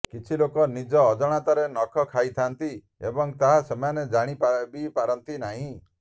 କିଛି ଲୋକ ନିଜ ଅଜଣାତରେ ନଖ ଖାଇଥାନ୍ତି ଏବଂ ତାହା ସେମାନେ ଜାଣି ବି ପାରନ୍ତି ନାହିଁ